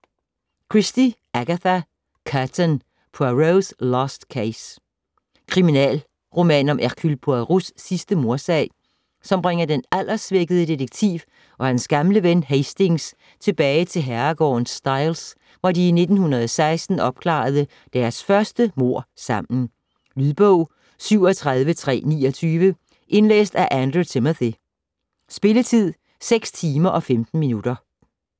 Christie, Agatha: Curtain: Poirot's last case Kriminalroman om Hercule Poirots sidste mordsag, som bringer den alderssvækkede detektiv og hans gamle ven Hastings tilbage til herregården Styles, hvor de i 1916 opklarede deres første mord sammen. Lydbog 37329 Indlæst af Andrew Timothy Spilletid: 6 timer, 15 minutter.